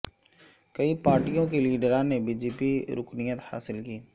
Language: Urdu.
کئی پارٹیوں کے لیڈران نے بی جے پی رکنیت حاصل کی